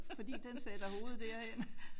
Fordi den sætter hovedet derhen